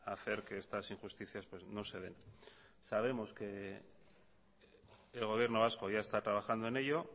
hacer que estas injusticias no se den sabemos que el gobierno vasco ya está trabajando en ello